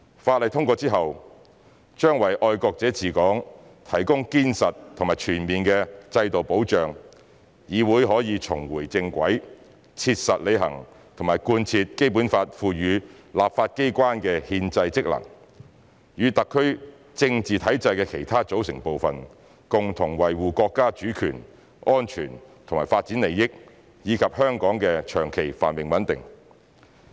法例通過之後，將為"愛國者治港"提供堅實和全面的制度保障，議會可以重回正軌，切實履行和貫徹《基本法》賦予立法機關的憲制職能，與特區政治體制的其他組成部分，共同維護國家主權、安全和發展利益，以及香港的長期繁榮穩定。